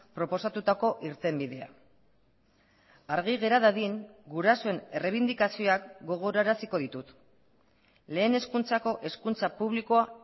proposatutako irtenbidea argi gera dadin gurasoen errebindikazioak gogoraraziko ditut lehen hezkuntzako hezkuntza publikoa